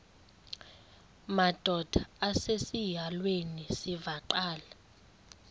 madod asesihialweni sivaqal